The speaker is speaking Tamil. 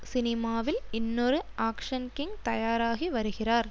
சினிமாவில் இன்னொரு ஆக்ஷ்ன் கிங் தயாராகி வருகிறார்